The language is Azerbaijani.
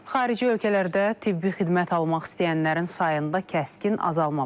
Xarici ölkələrdə tibbi xidmət almaq istəyənlərin sayında kəskin azalma var.